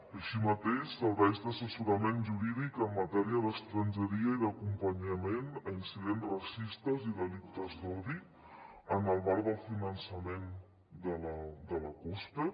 així mateix serveis d’assessorament jurídic en matèria d’estrangeria i d’acompanyament a incidents racistes i delictes d’odi en el marc del finançament de la cospe